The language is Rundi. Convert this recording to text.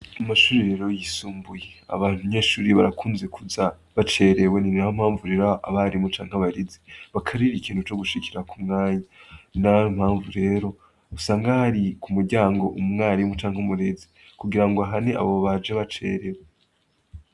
Ku mashure yay'isumbuye, abanyeshuri barakunze kuza bacerewe. Niyo mpamvu rero abarimu canke abarezi bakarira ku kintu co gushikira ku mwanya. Ninayo mpamvu rero usanga hari ku muryango umwarimu canke umurezi kugirango ahane abo baje bacerewe.